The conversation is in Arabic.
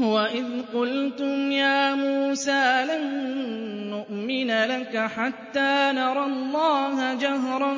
وَإِذْ قُلْتُمْ يَا مُوسَىٰ لَن نُّؤْمِنَ لَكَ حَتَّىٰ نَرَى اللَّهَ جَهْرَةً